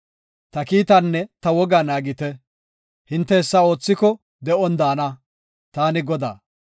Ta kiitaanne ta wogaa naagite, hinte hessa oothiko de7on daana. Taani Godaa.